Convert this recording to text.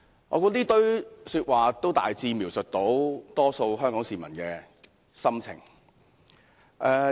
我認為這些說話可以大致描寫香港大多數市民的心情。